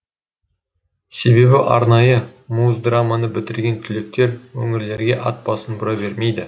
себебі арнайы муздраманы бітірген түлектер өңірлерге ат басын бұра бермейді